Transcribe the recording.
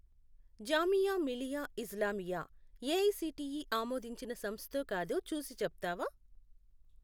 Jamia Millia Islamia AICTE ఆమోదించిన సంస్థో కాదో చూసి చెప్తావా?